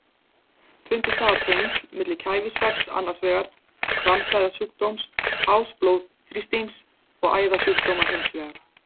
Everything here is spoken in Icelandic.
Fundist hafa tengsl milli kæfisvefns annars vegar og kransæðasjúkdóms, hás blóðþrýstings og æðasjúkdóma hins vegar.